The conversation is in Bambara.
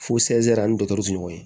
Fo ani dɔtɔrɔw tɛ ɲɔgɔn ye